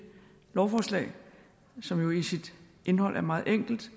lovforslag som jo i sit indhold er meget enkelt